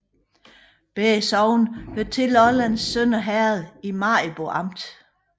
Begge sogne hørte til Lollands Sønder Herred i Maribo Amt